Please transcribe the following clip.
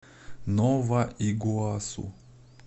нова игуасу